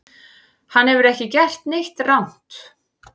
Hann hefur ekki gert neitt rangt